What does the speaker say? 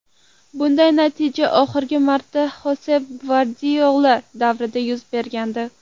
Bunday natija oxirgi marta Xosep Gvardiola davrida yuz bergandi.